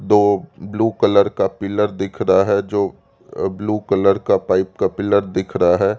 तो blue colour का pillar दिख रहा है जो ब्लू कलर का पाइप का पिलर दिख रहा है।